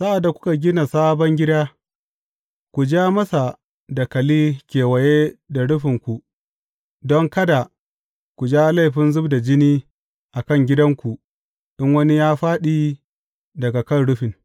Sa’ad da kuka gina sabon gida, ku ja masa dakali kewaye da rufinku don kada ku jawo laifin zub da jini a kan gidanku in wani ya fāɗi daga kan rufin.